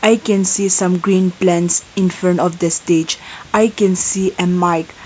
i can see some green plants in front of the stage i can see a mic.